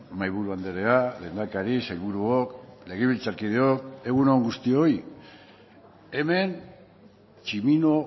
mahaiburu andrea lehendakari sailburuok legebiltzarkideok egun on guztioi hemen tximino